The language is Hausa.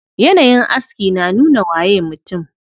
Yanayin aski na nuna waye mutum.